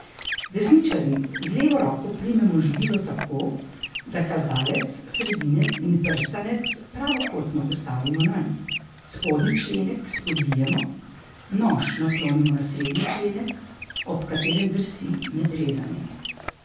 Desničarji z levo roko primemo živilo tako, da kazalec, sredinec in prstanec pravokotno postavimo nanj, spodnji členek spodvijemo, nož naslonimo na srednji členek, ob katerem drsi med rezanjem.